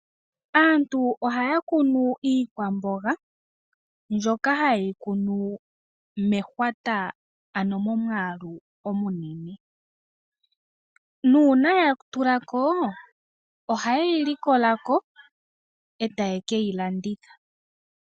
Aantu ohaya kunu iikwamboga mbyoka hayi kunwa mehwata ano momwaalu omunene . Uuna yatulako ohayeyi likolako , etaye keyi landitha.